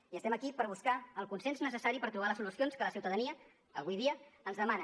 i estem aquí per buscar el consens necessari per trobar les solucions que la ciutadania avui dia ens demana